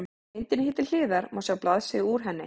Á myndinni hér til hliðar má sjá blaðsíðu úr henni.